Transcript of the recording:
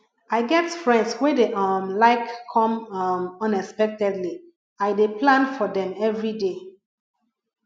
i get friends wey dey um like come um unexpectedly i dey plan for dem everyday